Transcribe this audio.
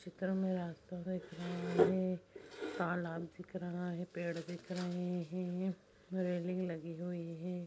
चित्र में रास्ता दिख रहा है तालाब दिख रहा है पेड़ दिख रहे हैं रेलिंग लगी हुई है।